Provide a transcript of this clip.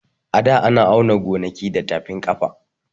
A da ana auna gonaki da tafib ƙafa